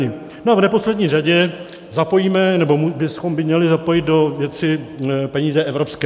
No a v neposlední řadě zapojíme, nebo bychom měli zapojit, do věci peníze evropské.